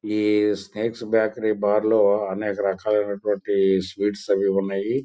ఈ snacks bakery bar లో అనేక రక లినటువంటి స్వీట్స్ అనేవి ఉన్నాయి.